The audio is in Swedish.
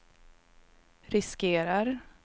riskerar